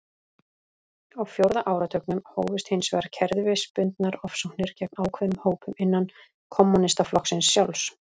Á fjórða áratugnum hófust hins vegar kerfisbundnar ofsóknir gegn ákveðnum hópum innan kommúnistaflokksins sjálfs.